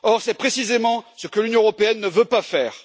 Or, c'est précisément ce que l'Union européenne ne veut pas faire.